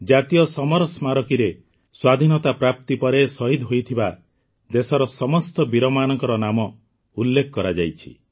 ଜାତୀୟ ସମର ସ୍ମାରକୀରେ ସ୍ୱାଧୀନତା ପ୍ରାପ୍ତି ପରେ ଶହୀଦ ହୋଇଥିବା ଦେଶର ସମସ୍ତ ବୀରମାନଙ୍କ ନାମ ଉଲ୍ଲେଖ କରାଯାଇଛି